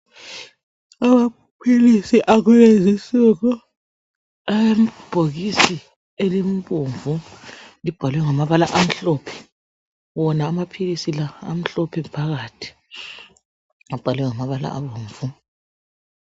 Amaphilisi akulezi insuku alebhokisi elibomvu. Libhalwe ngamabala amhlophe wona amaphilisi la amhlophe phakathi abhalwe ngamabala abomvu.